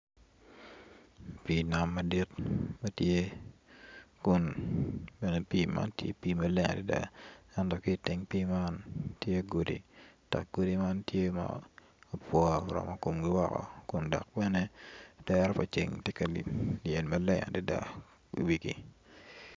Pii nam madit matye kun bene pii man tye pii maleng adada enot ki teng pii man tye godi dok godi man tye ma apwo oromo komgi woko kun dok bene dero pa ceng tye ka lyel maleng adada i wigi